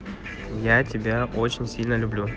я тебя очень сильно люблю